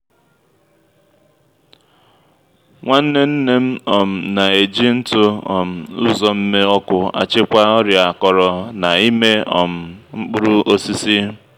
nwanne nne m um na-eji ntụ um uzomme ọkụ achịkwa ọrịa akọrọ na’ime um mkpụrụ osisi.